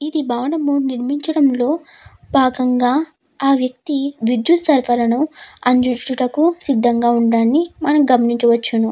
ఈ భవనము నిర్మించటాము లో భాగంగా ఆ వ్యక్తి విద్యుత్ సరఫరా ను అందించడానికి సిద్దంగా ఉన్నట్టు మనం గమనించవచ్చును.